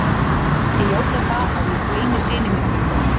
Ég játa það að ég gleymi syni mínum í kvöld.